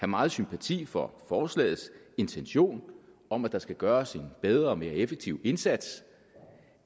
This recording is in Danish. meget sympati for forslagets intention om at der skal gøres en bedre og mere effektiv indsats